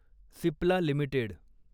Cipla limited